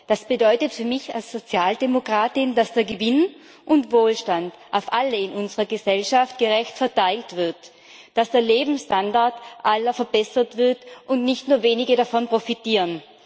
Das bedeutet für mich als Sozialdemokratin, dass der Gewinn und Wohlstand auf alle in unserer Gesellschaft gerecht verteilt wird, dass der Lebensstandard aller verbessert wird und dass nicht nur wenige davon profitieren.